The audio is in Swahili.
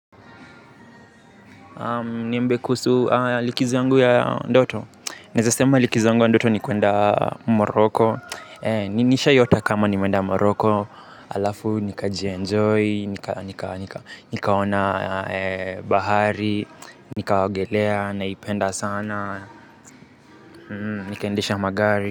Niambie kuhusu likizo yangu ya ndoto. Naeza sema likizo yangu ya ndoto ni kuenda moroko. Nishaiota kama nimeenda moroko halafu nikajienjoy. Nikaona bahari. Nikaogelea naipenda sana. Nikaendesha magari.